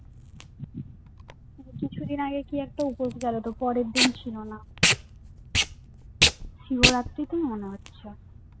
কিছুদিন আগে কি একটা উপশ গেলো তোর পরের দিন ছিল না শিবরাত্রি তেই মনে হয়